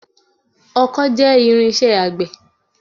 ọkó jẹ́ irinṣẹ́ àgbẹ̀